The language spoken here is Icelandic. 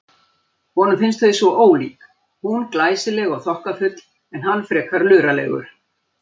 Honum finnst þau svo ólík, hún glæsileg og þokkafull en hann frekar luralegur.